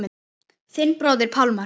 Þinn bróðir Pálmar.